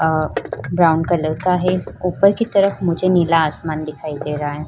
अअअ brown colour का है। ऊपर की तरफ मुझे नीला आसमान दिखाई दे रहा है।